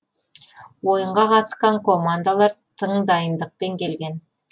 ойынға қатысқан командалар тың дайындықпен келген